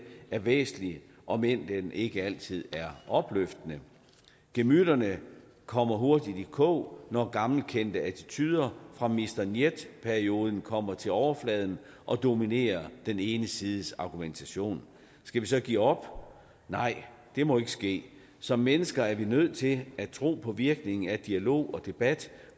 er væsentlig om end den ikke altid er opløftende gemytterne kommer hurtigt i kog når gammelkendte attituder fra mister njet perioden kommer til overfladen og dominerer den ene sides argumentation skal vi så give op nej det må ikke ske som mennesker er vi nødt til at tro på virkningen af dialog og debat